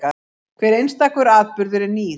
Hver einstakur atburður er nýr.